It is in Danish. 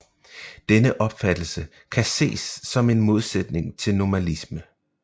Denne opfattelse kan ses som en modsætning til nomalisme